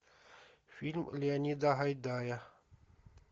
фильм леонида гайдая